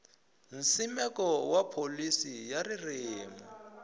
nsimeko wa pholisi ya ririmi